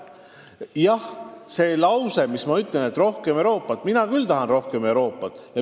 Nüüd see lause, et mina tahan küll rohkem Euroopat.